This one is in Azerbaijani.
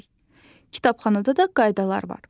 Kitabxanada da qaydalar var.